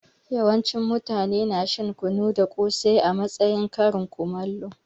Yawancin mutane na shan kunu da kosai a matsayin karin kumallo.